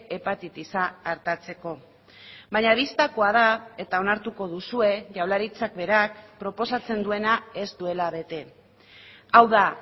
hepatitisa artatzeko baina bistakoa da eta onartuko duzue jaurlaritzak berak proposatzen duena ez duela bete hau da